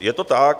Je to tak.